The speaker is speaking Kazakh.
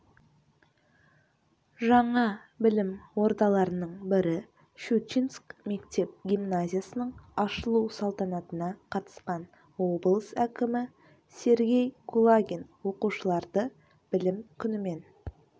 жаңа білім ордаларының бірі щучинск мектеп-гимназиясының ашылу салтанатына қатысқан облыс әкімі сергей кулагин оқушыларды білім күнімен